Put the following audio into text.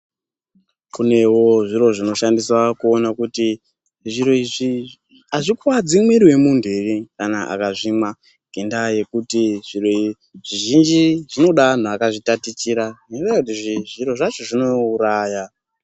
Kunewo zviro zvinoshandiswa kuona kuti zviro izvi azvikuwadzi mwiri wemuntu ere kana akazvimwa ngenda yekuti zviro zvizhinji zvinode antu akazvitatichira ngenyaya yekuti zviro zvacho zvinouraya.